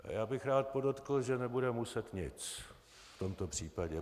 Já bych rád podotkl, že nebude muset nic v tomto případě.